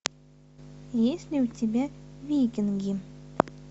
есть ли у тебя викинги